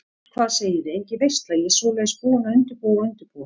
Hvað segiði, engin veisla, ég svoleiðis búin að undirbúa og undirbúa.